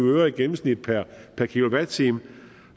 øre i gennemsnit per kilowatt time